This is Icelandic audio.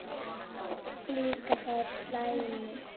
Líka þær slæmu.